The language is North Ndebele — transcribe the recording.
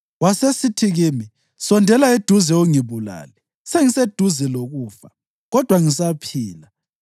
Wasesithi kimi, ‘Sondela eduze ungibulale! Sengiseduze lokufa, kodwa ngisaphila.’